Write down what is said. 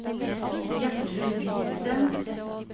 Gjertrud Hvidsten